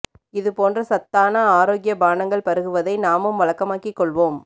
இது போன்ற சத்தான ஆரோக்கிய பானங்கள் பருகுவதை நாமும் வழக்கமாக்கி கொள்வோம்